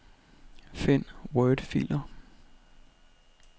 Find wordfiler.